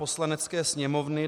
Poslanecké sněmovny